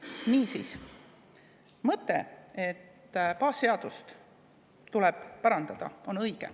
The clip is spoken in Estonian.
Niisiis, mõte, et baasseadust tuleb parandada, on õige.